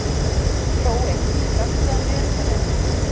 Hrói, slökktu á niðurteljaranum.